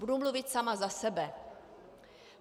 Budu mluvit sama za sebe.